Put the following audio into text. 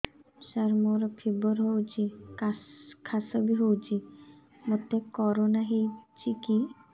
ସାର ମୋର ଫିବର ହଉଚି ଖାସ ବି ହଉଚି ମୋତେ କରୋନା ହେଇଚି କି